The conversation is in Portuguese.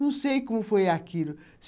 Não sei como foi aquilo.